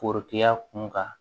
Forotigiya kunkan